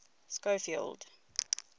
schofield